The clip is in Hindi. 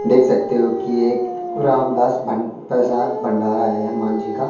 देख सकते हो कि एक रामदास भं प्रसाद भंडारा है हनुमान जी का।